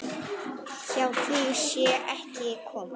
Hjá því sé ekki komist.